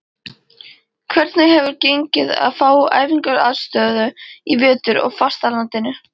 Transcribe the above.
Hvernig hefur gengið að fá æfingaaðstöðu í vetur á fastalandinu?